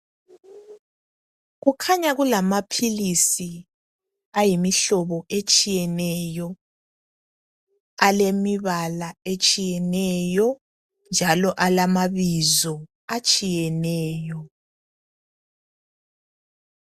Kukhanya kulamaphilisi ayimihlobo etshiyeneyo alemibala etshiyeneyo njalo alamabizo atshiyeneyo.